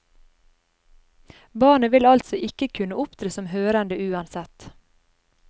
Barnet vil altså ikke kunne opptre som hørende uansett.